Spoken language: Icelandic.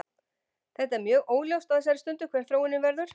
Þetta er mjög óljóst á þessari stundu hver þróunin verður.